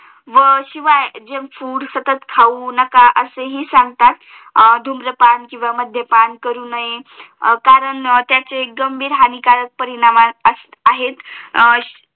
व शिवाय junk food सतत खाऊ नका असा हि सांगतात धूम्रपान किंवा मध्यपाण करू नये कारण त्यांचे गंभीर हानिकारक परिणाम आहे